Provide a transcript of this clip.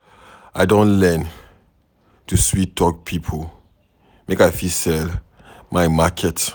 I don learn to sweet-talk pipo make I fit sell my market.